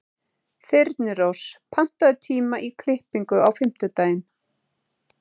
Þyrnirós, pantaðu tíma í klippingu á fimmtudaginn.